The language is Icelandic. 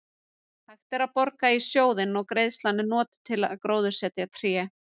Hægt er að borga í sjóðinn og greiðslan er notuð til að gróðursetja tré.